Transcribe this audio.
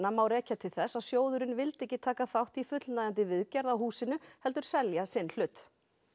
má rekja til þess að sjóðurinn vildi ekki taka þátt í fullnægjandi viðgerð á húsinu heldur selja sinn hlut